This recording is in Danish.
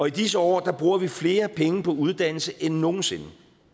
i disse år bruger vi flere penge på uddannelse end nogen sinde